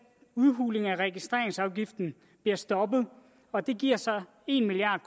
udhuling af registreringsafgiften blev stoppet og det giver så en milliard